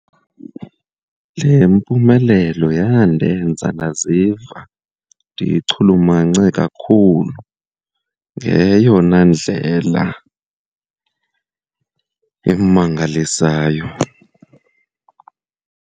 Le mpumelelo yandenza ndaziva ndichulumance kakhulu ngeyona ndlela emangalisayo.